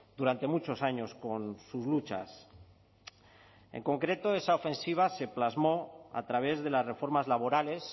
durante muchos años con sus luchas en concreto esa ofensiva se plasmó a través de las reformas laborales